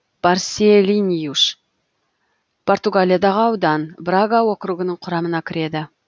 барселиньюш португалиядағы аудан брага округінің құрамына кіреді